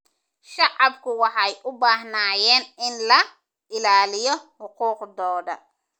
Shacabku waxay u baahnaayeen in la ilaaliyo xuquuqdooda.